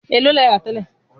Bọlá ń jẹ́ sìn-sìn lọ́wọ́.